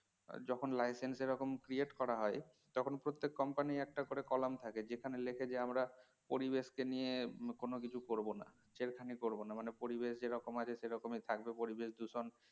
যখন license এরকম create করা হয় তখন প্রত্যেক company এর একটা করে column থাকে যেখানে লেখে যে আমরা পরিবেশকে নিয়ে কোন কিছু করবোনা ছেড়খানি করবো না মানে পরিবেশ যেরকম আছে সে রকমই থাকবে পরিবেশ দূষণ